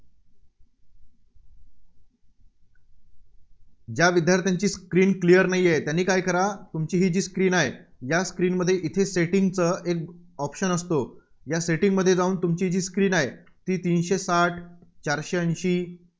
ज्या विद्यार्थ्यांची screen clear नाहीये, त्यांनी काय करा तुमची जी Screen आहे, या Screen मध्ये Setting चं option असतं. या Setting मध्ये जाऊन तुमची जी Screen आहे ती तीनशे साठ चारशे ऐंशी